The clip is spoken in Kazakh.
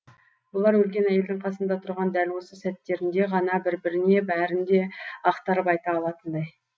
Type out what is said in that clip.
бұлар өлген әйелдің қасында тұрған дәл осы сәттерінде ғана бір біріне бәрін де ақтарып айта алатындай